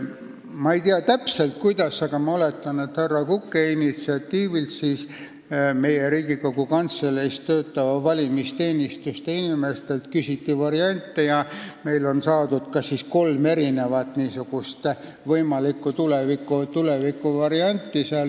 Ma ei tea täpselt, kuidas see toimus, aga ma oletan, et härra Kuke initsiatiivil küsiti Riigikogu Kantselei valimisteenistuse inimestelt variante ja neilt saadi kolm erinevat võimalikku tulevikuvarianti.